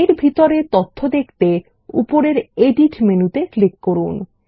এর ভিতরের তথ্য দেখতে উপরের এডিট মেনুতে ক্লিক করুন